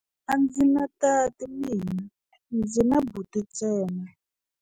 A ndzi na tati mina, ndzi na buti ntsena.